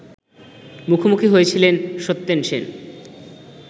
মুখোমুখি হয়েছিলেন সত্যেন সেন